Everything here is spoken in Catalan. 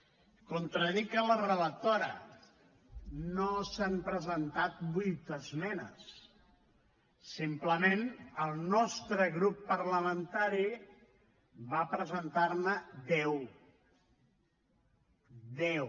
contradic la relatora no s’han presentat vuit esmenes simplement el nostre grup parlamentari va presentar ne deu deu